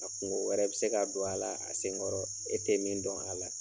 A kungo wɛrɛ bɛ se k'a don a la a senkɔrɔ e tɛ min dɔn a la.